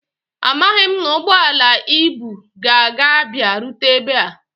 Amaghị m ma ụgbọala ibu a ga abia rute ebe a